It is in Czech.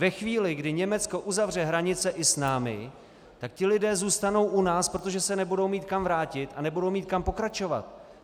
Ve chvíli, kdy Německo uzavře hranice i s námi, tak ti lidé zůstanou u nás, protože se nebudou mít kam vrátit a nebudou mít kam pokračovat.